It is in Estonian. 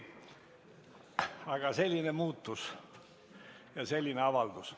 Aga selline muutus ja selline avaldus.